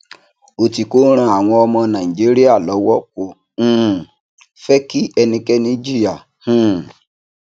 otiko ń ràn àwọn ọmọ nàìjíríà lówó kò um fẹ kí ẹnikẹni jìyà um